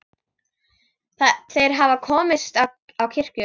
Þeir hafa komist á kirkju!